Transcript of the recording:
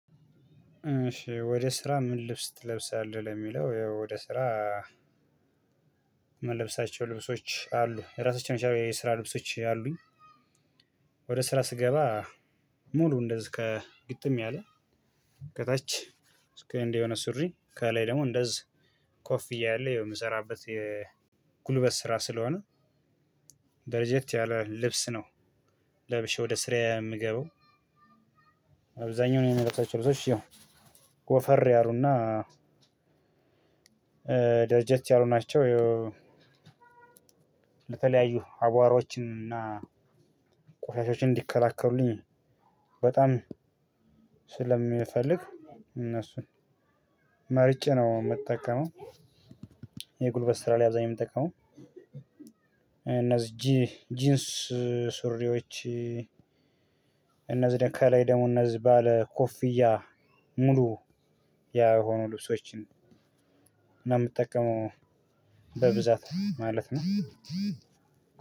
ወደ ስራ ምን ልብስ ትለብሳለህ ለሚለው ወደ ስራ ምለብሳቸው ልብሶች አሉ ራሳቸውን የሰራ ልብሶች አሉኝ። ወደ ስራ ስገባ ሙሉ እንደዚህ ከግጥም ያለ ከታች እስክል እንደሆነ ሱሪ ከላይ ደግሞ እንደዚህ ኮፍያ ያለው የምሰራበት የጉልበት ስራ ስለሆነ። ደረጀት ያለ ልብስ ነው ለብሼ ወደ ስራ የምገባው። አብዛኛው ነው የምለብሳቸው ልብሶች ይኸው ወፈር ያሉና ደረጃት ያሉ ናቸው። ለተለያዩ አቧሮችን እና ቆሻሻዎችን እንዲከላከሉልኝ በጣም ስለሚፈልግ እነሱን መርጬ ነው የምጠቀመው። የጉልበት ስራ ላይ አብዛኛው የምትጠቀመው። እነዚህ ጂ ጂንስ ሱሪዎች እነዚህ ከላይ ደሙ እነዚህ ባለ ኮፍያ ሙሉ የሆኑ ልብሶችን ነው የምጠቀመው። በብዛት ማለት ነው።